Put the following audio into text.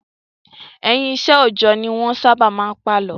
Ẹ̀yìn iṣẹ́ òòjọ́ ni wọ́n sábà máa ń pàlọ́.